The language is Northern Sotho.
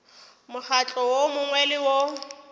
mokgatlo wo mongwe le wo